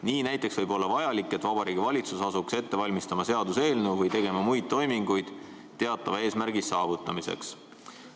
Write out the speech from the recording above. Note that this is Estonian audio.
Nii võib näiteks olla vajalik, et Vabariigi Valitsus asuks ette valmistama seaduseelnõu või tegema muid toiminguid teatava eesmärgi saavutamiseks.